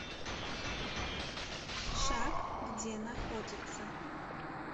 шаг где находится